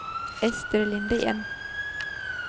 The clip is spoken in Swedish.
Ester Lindén